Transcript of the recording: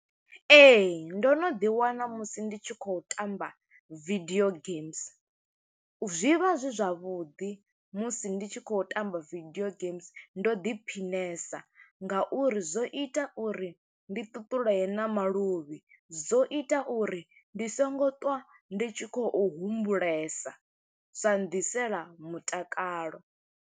Ee, ndo no ḓi wana musi ndi tshi khou tamba video games. Zwi vha zwi zwavhuḓi musi ndi tshi khou tamba video games, ndo ḓi phiṋase nga uri zwo ita uri ndi ṱuṱuleye na maluvhi. Zwo ita uri ndi songo ṱwa, ndi tshi khou humbulesa, zwa nnḓisela mutakalo.